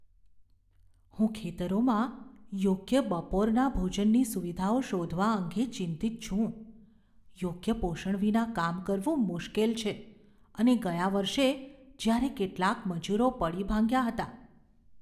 હું ખેતરોમાં યોગ્ય બપોરના ભોજનની સુવિધાઓ શોધવા અંગે ચિંતિત છું. યોગ્ય પોષણ વિના કામ કરવું મુશ્કેલ છે, અને ગયા વર્ષે જ્યારે કેટલાંક મજૂરો પડી ભાંગ્યા હતા.